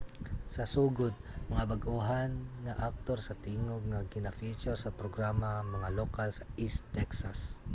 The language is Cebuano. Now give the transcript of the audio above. sa sugod mga bag-ohan nga aktor sa tingog ang gina-feature sa programa mga lokal sa east texas